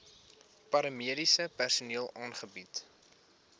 paramediese personeel aangebied